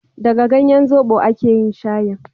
daga ganyen zobo a ke yin shayin